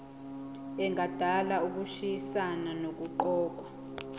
engadala ukushayisana nokuqokwa